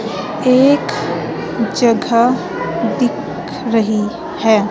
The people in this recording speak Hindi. एक जगह दिख रही है।